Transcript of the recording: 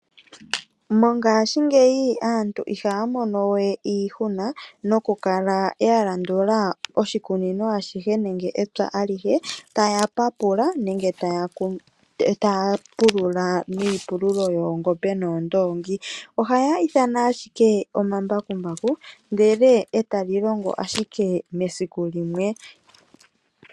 Mongashingeyi aantu ihaya mono wee iishuna nokukala yalandula oshikunino ashihe nenge epya alihe taya papula nenge taya pulula niipululo yoongombe noondongi ohaya ithana ashike omambakumbaku ndele ee tali longo esiku limwe.